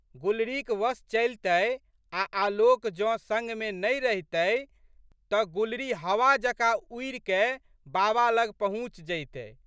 गुलरीक वश चलितै आ आलोक जौं संगमे नहि रहितै तऽ गुलरी हवा जकाँ उड़िकए बाबा लग पहुँचि जइतै।